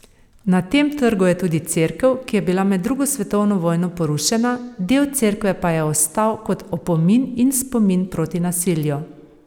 Na tem trgu je tudi cerkev, ki je bila med drugo svetovno vojno porušena, del cerkve pa je ostal kot opomin in spomin proti nasilju.